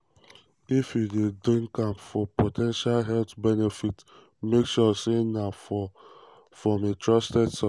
"if you dey drink am for po ten tial health benefits um make sure say na from a trusted source." um